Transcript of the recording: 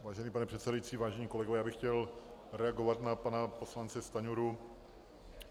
Vážený pane předsedající, vážení kolegové, já bych chtěl reagovat na pana poslance Stanjuru.